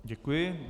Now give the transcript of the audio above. Děkuji.